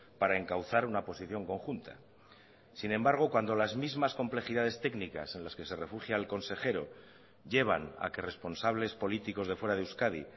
para encauzar una posición conjunta sin embargo cuando las mismas complejidades técnicas en las que se refugia el consejero llevan a que responsables políticos de fuera de euskadi